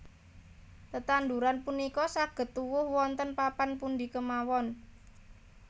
Tetanduran punika saged tuwuh wonten papan pundi kemawon